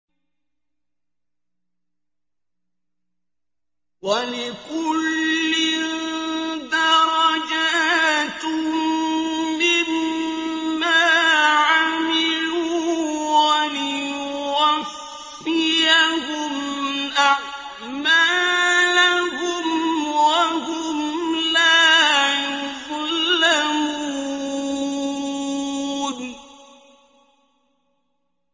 وَلِكُلٍّ دَرَجَاتٌ مِّمَّا عَمِلُوا ۖ وَلِيُوَفِّيَهُمْ أَعْمَالَهُمْ وَهُمْ لَا يُظْلَمُونَ